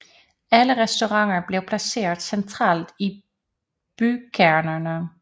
Alle restauranter blev placeret centralt i bykernerne